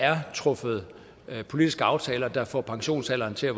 er truffet politiske aftaler der får pensionsalderen til at